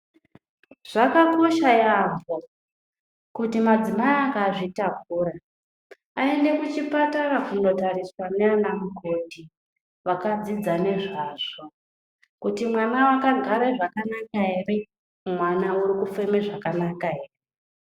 Zvakakosha yambo, kuti madzimai akazvitakura aende kuchipatara kunotariswa nanamukoti, vakadzidza ngezvazvo kuti mwana wakagara zvakanaka ere, mwana uri kufema zvakanaka ere.